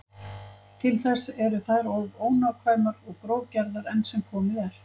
Til þess eru þær of ónákvæmar og grófgerðar enn sem komið er.